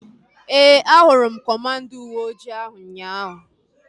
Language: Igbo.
Ee, a hụrụ m kọmanda uweojii ahu ụnyaahụ